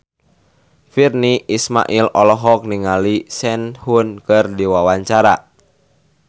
Virnie Ismail olohok ningali Sehun keur diwawancara